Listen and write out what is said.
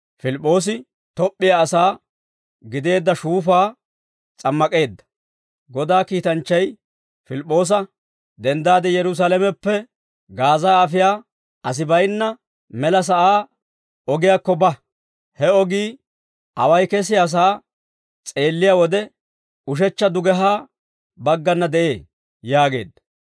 Godaa kiitanchchay Pilip'p'oosa, «Denddaade Yerusaalameppe Gaaza afiyaa asi baynna mela sa'aa ogiyaakko ba; he ogii away kesiyaasaa s'eelliyaa wode ushechcha dugehaa baggana de'ee» yaageedda.